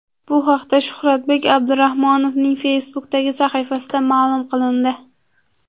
Bu haqda Shuhratbek Abdurahmonovning Facebook’dagi sahifasida ma’lum qilindi .